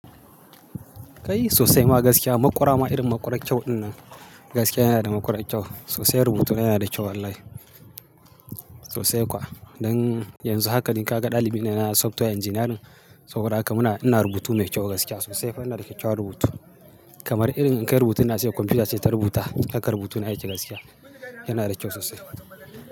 Kai sosai ma gaskiya, maƙura ma irin maƙura kyau ɗinnan. Gaskiya yana da maƙurar kyau, sosai rubutu na yana da kyau wallahi. Sosai kuwa. Don yanzu haka ni kaga dalibi ne na software engineering saboda haka muna, ina rubutu mai kyau gaskiya sosai. Nima ina da kyakkyawan rubutu. Kamar irin in kai rubutun nan komfuta ce ta rubuta, hakan rubutun yake gaskiya. Yana da kyau sosai.